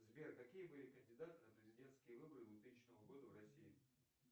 сбер какие были кандидаты на президентские выборы двухтысячного года в россии